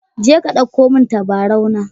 Je ka dauko min tabarau na.